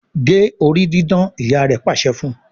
gé orí didán! ìyá rẹ pàṣẹ fún.